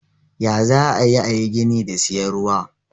Ya zaayi ayi gini da siyan ruwa.